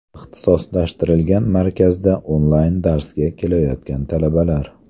Ixtisoslashtirilgan markazda onlayn darsga kelayotgan talabalar.